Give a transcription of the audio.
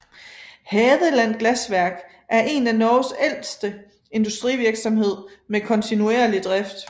Hadeland Glassverk eren af Norges ældste industrivirksomhed med kontinuerlig drift